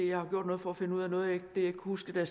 jeg har gjort noget for at finde ud af noget af ikke kunne huske da